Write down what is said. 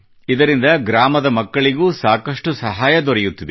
ಇದರಿಂದ ಗ್ರಾಮದ ಮಕ್ಕಳ ಸಹಾಯವೂ ಸಾಕಷ್ಟು ದೊರೆಯುತ್ತಿದೆ